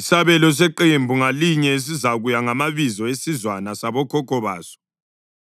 Isabelo seqembu ngalinye sizakuya ngamabizo esizwana sabokhokho baso.